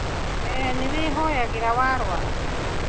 We nĩwĩhoyagĩra warũara?